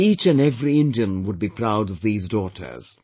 Each and every Indian would be proud of these daughters